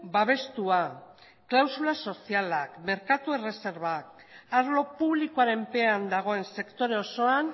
babestua klausula sozialak merkatu erreserbak arlo publikoaren pean dagoen sektore osoan